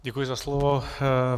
Děkuji za slovo.